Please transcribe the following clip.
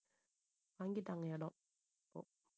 வாங்கிட்டாங்க இடம் இப்போ